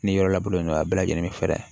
Ni yɔrɔ lankolon don a bɛɛ lajɛlen bɛ fɛɛrɛ